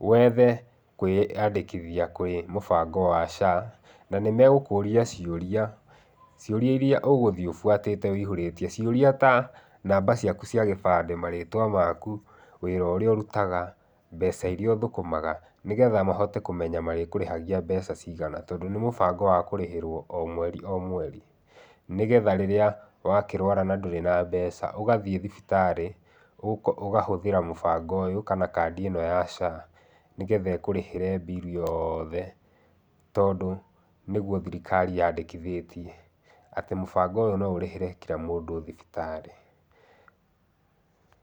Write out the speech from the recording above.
wethe kũĩandĩkithia kwĩ mũbango wa SHA. Na nĩmegũkũria ciũria, ciũria iria ũgũthiĩ ũbuatĩte ũihũrĩtie, ciũria ta namba ciaku cia gĩbandĩ, marĩtwa maku, wĩra ũrĩa ũrutaga, mbeca iria ũthũkũmaga, nĩgetha mahote kũmenya marĩkũrĩhagia mbeca cigana tondũ nĩ mũbango wa kũrĩhĩrwo o mweri o mweri, nĩgetha rĩrĩa wakĩrwara na ndũrĩ na mbeca, ũgathiĩ thibitarĩ, ũkahũthĩra mũbango ũyũ kana kandi ĩno ya SHA nĩgetha ĩkũrĩhĩre bill yoothe tondũ nĩguo thirikari yandĩkithĩtie, atĩ mũbango ũyũ no ũrĩhĩre kira mũndũ thibitarĩ.